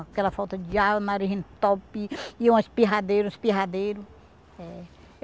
Aquela falta de ar, o nariz entalpia, ia um espirradeiro, um espirradeiro.